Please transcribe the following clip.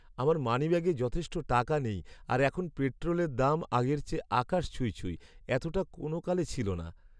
আমার মানিব্যাগে যথেষ্ট টাকা নেই আর এখন পেট্রোলের দাম আগের চেয়ে আকাশ ছুঁই ছুঁই, এতটা কোনোকালে ছিল না।